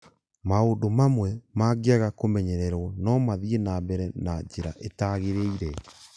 Maũndũ mamwe mangĩaga kũmenyererũo no mathiĩ na mbere na njĩra ĩtagĩrĩire